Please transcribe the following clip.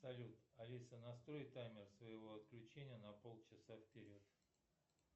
салют алиса настрой таймер своего отключения на полчаса вперед